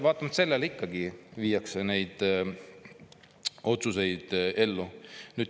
Vaatamata sellele viiakse ikkagi neid otsuseid ellu.